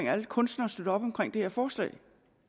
at alle kunstnere støtter op om det her forslag